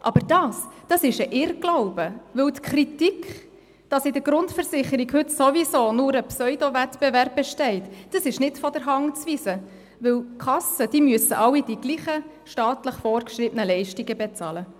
Aber das ist ein Irrglaube, weil die Kritik nicht von der Hand zu weisen ist, dass in der Grundversicherung heute sowieso nur ein Pseudowettbewerb besteht, weil die Kassen alle die gleichen staatlich vorgeschriebenen Leistungen bezahlen.